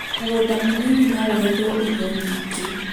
mũgũnda mũnĩnĩ no ũgethwo irio nyingĩ